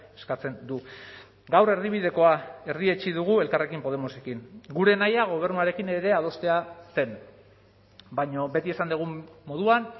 eskatzen du gaur erdibidekoa erdietsi dugu elkarrekin podemosekin gure nahia gobernuarekin ere adostea zen baina beti esan dugun moduan